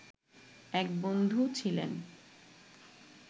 এক বন্ধু ছিলেন